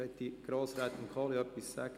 Möchte Grossrätin Kohli etwas sagen?